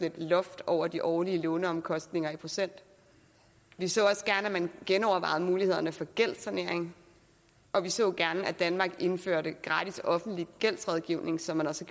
et loft over de årlige låneomkostninger i procent vi så også gerne at man genovervejede mulighederne for gældssanering og vi så gerne at danmark indførte gratis offentlig gældsrådgivning som man også